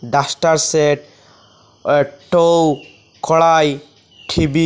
ডাস্টারসেট একটো কড়াই ঠিবি --